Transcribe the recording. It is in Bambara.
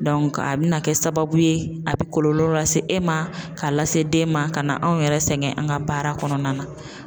a be na kɛ sababu ye, a be kɔlɔlɔ lase e ma ka lase den ma ka na anw yɛrɛ sɛgɛn an ka baara kɔnɔna na.